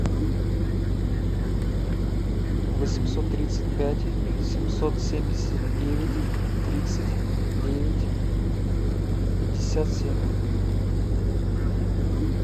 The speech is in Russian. восемьсот тридцать пять семьсот семьдесят девять тридцать девять пятьдесят семь